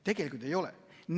Tegelikult ei ole.